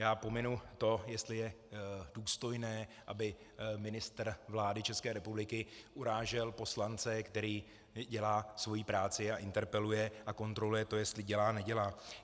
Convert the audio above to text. Já pominu to, jestli je důstojné, aby ministr vlády České republiky urážel poslance, který dělá svoji práci a interpeluje a kontroluje to, jestli dělá, nedělá.